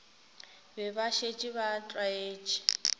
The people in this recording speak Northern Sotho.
be ba šetše ba tlwaetše